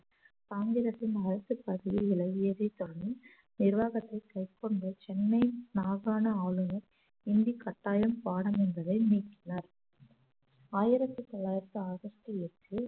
ஆங்கிலத்தின் விலகியதை தொடர்ந்து நிர்வாகத்தை கைக்கொண்டு சென்னை மாகாண ஆளுநர் ஹிந்தி கட்டாயம் பாடம் என்பதை நீக்கினார் ஆயிரத்து தொள்ளாயிரத்து ஆகஸ்ட் எட்டில்